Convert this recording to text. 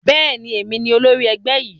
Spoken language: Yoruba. Bẹ́ẹ̀ni, èmi ni olórí ẹgbẹ́ yìí